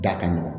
Da ka nɔgɔn